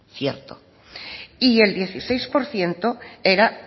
cierto y el dieciséis por ciento era